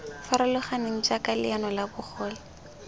farologaneng jaaka leano la bogole